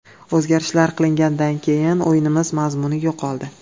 O‘zgarishlar qilinganidan keyin o‘yinimiz mazmuni yo‘qoldi.